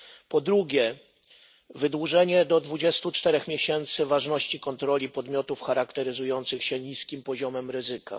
Po drugie, wydłużenie do 24 miesięcy ważności kontroli podmiotów charakteryzujących się niskim poziomem ryzyka.